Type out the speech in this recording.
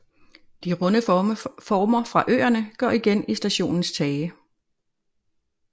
De runde former fra øerne går igen i stationens tage